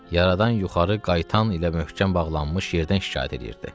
Yaradan yuxarı qaytan ilə möhkəm bağlanmış yerdən şikayət eləyirdi.